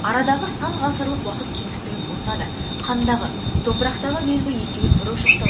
арадағы сан ғасырлық уақыт кеңістігі болса да қандағы топырақтағы белгі екеуін бір ошақта